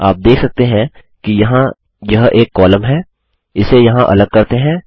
आप देख सकते हैं कि यहाँ यह एक कॉलम है इसे यहाँ अलग करते हैं